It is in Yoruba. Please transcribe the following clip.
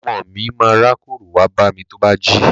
Ọmọ mi ma rákórò wá bámi tó bá jí.